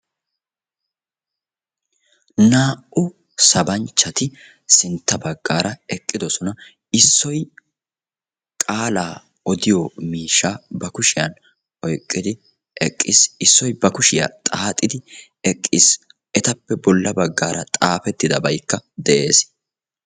naa"u sabanchatti sintta bagara eqidossona issoy cengurssa xoqisiyaa misha ba kushiyani oyqidi eqqisi issoy ba kushiya xaaxidi eqiisi ettappe bola bagar xaafetidabaykka deessi.